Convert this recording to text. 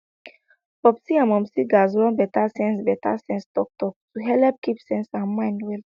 popsi and momsi gatz run better sense better sense talktalk to helep keep sense and mind well